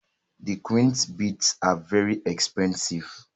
The queens beads are very expensive.